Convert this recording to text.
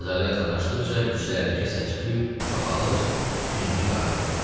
Bazara yaxınlaşdıqca küçələrdəki səs-küy çoxalır, tünlük artırdı.